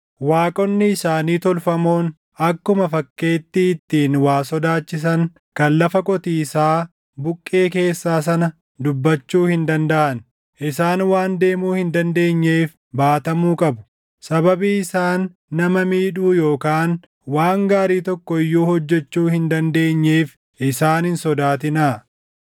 Waaqonni isaanii tolfamoon akkuma fakkeettii ittiin waa sodaachisan kan lafa qotiisaa buqqee keessaa sana dubbachuu hin dandaʼan; isaan waan deemuu hin dandeenyeef baatamuu qabu. Sababii isaan nama miidhuu yookaan waan gaarii tokko iyyuu hojjechuu hin dandeenyeef isaan hin sodaatinaa.”